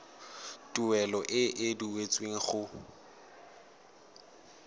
tuelo e e duetsweng go